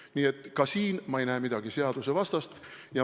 Nii et ka selles ei näe ma midagi seadusvastast.